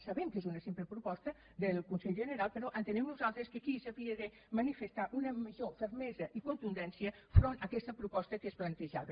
sabem que és una simple proposta del consell general però entenem nosaltres que aquí s’havia de manifestar una major fermesa i contundència enfront d’aquesta proposta que es plantejava